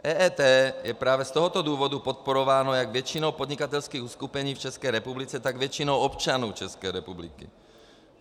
EET je právě z tohoto důvodu podporováno jak většinou podnikatelských uskupení v České republice, tak většinou občanů České republiky.